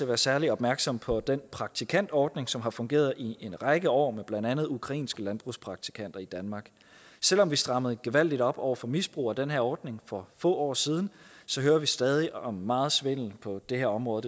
være særlig opmærksom på den praktikantordning som har fungeret i en række år med blandt andet ukrainske landbrugspraktikanter i danmark selv om vi strammede gevaldigt op over for misbrug af den her ordning for få år siden hører vi stadig om meget svindel på det her område